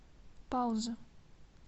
пауза